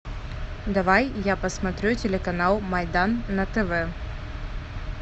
давай я посмотрю телеканал майдан на тв